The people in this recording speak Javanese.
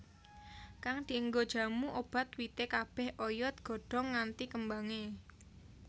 Kang dienggo jamu obat wite kabeh oyod godhong nganti kembange